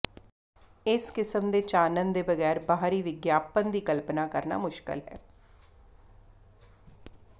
ਇਸ ਕਿਸਮ ਦੇ ਚਾਨਣ ਦੇ ਬਗੈਰ ਬਾਹਰੀ ਵਿਗਿਆਪਨ ਦੀ ਕਲਪਨਾ ਕਰਨਾ ਮੁਸ਼ਕਲ ਹੈ